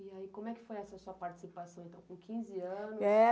E aí, como é que foi essa sua participação, então, com quinze anos?